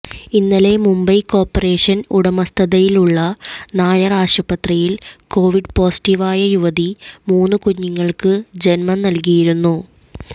ഇന്നലെ മുംബൈ കോർപ്പറേഷൻ്റെ ഉടമസ്ഥതയിലുള്ള നായർ ആശുപത്രിയിൽ കൊവിഡ് പൊസീറ്റീവായ യുവതി മൂന്ന് കുഞ്ഞുങ്ങൾക്ക് ജന്മം നൽകിയിരുന്നു